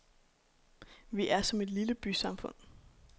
Vi er som et lille bysamfund.